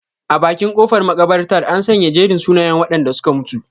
A bakin kofar makabartar, an sanya jerin sunayen wadanda suka mutu.